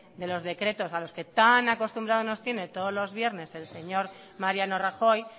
de los decretos a los que tan acostumbrados nos tiene todos los viernes el señor mariano rajoy